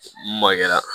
Mun magɛra